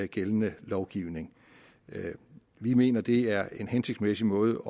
gældende lovgivning vi mener at det er en hensigtsmæssig måde